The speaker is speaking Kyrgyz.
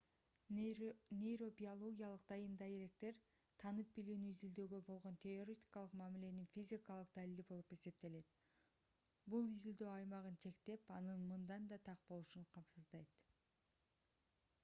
нейробиологиялык дайын-даректер таанып билүүнү изилдөөгө болгон теоретикалык мамиленин физикалык далили болуп эсептелет бул изилдөө аймагын чектеп анын мындан да так болушун камсыздайт